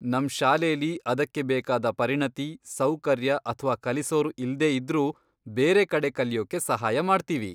ನಮ್ ಶಾಲೆಲಿ ಅದಕ್ಕೆ ಬೇಕಾದ ಪರಿಣತಿ, ಸೌಕರ್ಯ ಅಥ್ವಾ ಕಲಿಸೋರು ಇಲ್ದೇ ಇದ್ರೂ ಬೇರೆ ಕಡೆ ಕಲಿಯೋಕೆ ಸಹಾಯ ಮಾಡ್ತೀವಿ.